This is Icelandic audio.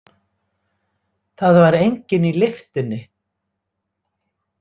Það var enginn í lyftunni.